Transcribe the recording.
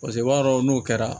Paseke o b'a sɔrɔ n'o kɛra